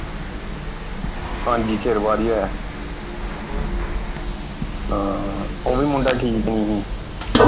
ਹਾਂਜੀ ਚਿਰ ਬਾਅਦ ਹੀ ਹੋਇਆ ਸੀ ਹਾਂ ਉਹ ਵੀ ਮੁੰਡਾ ਮਤਲਬ ਠੀਕ ਨਹੀਂ ਸੀ।